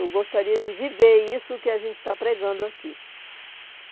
Eu gostaria de viver isso que a gente está pregando aqui.